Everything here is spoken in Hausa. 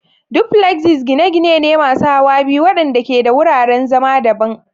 Duplexes gine-gine ne masu hawa biyu waɗanda ke da wuraren zama daban.